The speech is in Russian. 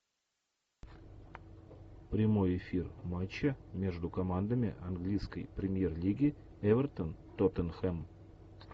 прямой эфир матча между командами английской премьер лиги эвертон тоттенхэм